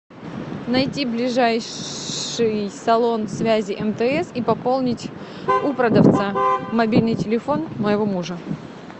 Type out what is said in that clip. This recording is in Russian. найти ближайший салон связи мтс и пополнить у продавца мобильный телефон моего мужа